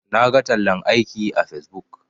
Naga tallan aiki a facebook.